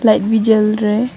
Light भी जल रहा है।